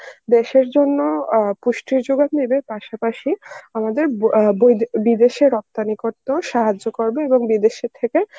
দেশের জন্য অ্যাঁ পুষ্টির যোগান দেবে এবং পাশাপাশি আমাদের অ্যাঁ বই~ বিদেশে রপ্তানি করতেও সাহায্য করবে এবং বিদেশের থেকে